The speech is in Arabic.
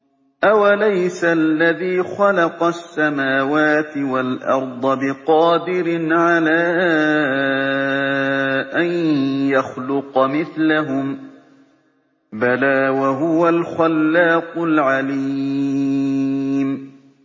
أَوَلَيْسَ الَّذِي خَلَقَ السَّمَاوَاتِ وَالْأَرْضَ بِقَادِرٍ عَلَىٰ أَن يَخْلُقَ مِثْلَهُم ۚ بَلَىٰ وَهُوَ الْخَلَّاقُ الْعَلِيمُ